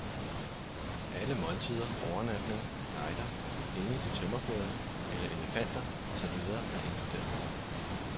Alle måltider, overnatning, guider, penge til tømmerflåden eller elefanter og så videre er inkluderet.